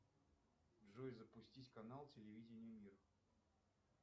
джой запустить канал телевидения мир